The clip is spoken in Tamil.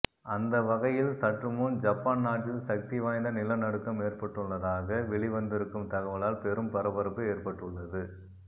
அந்த வகையில் சற்றுமுன் ஜப்பான் நாட்டில் சக்தி வாய்ந்த நிலநடுக்கம் ஏற்பட்டுள்ளதாக வெளிவந்திருக்கும் தகவலால் பெரும் பரபரப்பு ஏற்பட்டுள்ளது